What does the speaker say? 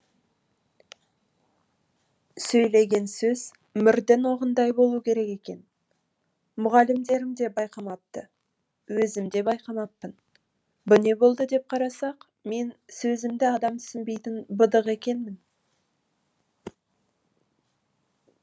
сөйлеген сөз мірдің оғындай болу керек екен мұғалімдерім де байқамапты өзім де байқамаппын бұ не болды деп қарасақ мен сөзімді адам түсінбейтін быдық екенмін